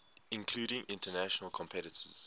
including international competitors